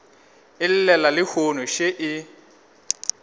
e llela lehono še e